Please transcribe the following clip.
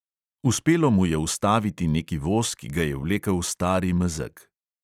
Uspelo mu je ustaviti neki voz, ki ga je vlekel star mezeg.